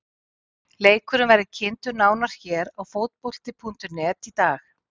Leikurinn verður kynntur nánar hér á Fótbolti.net í dag.